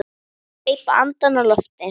Greip andann á lofti.